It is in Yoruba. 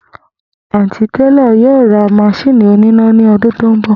Àntí télò̩ yóò ra mas̩íìnì oníná ni o̩dún tó ń bò̩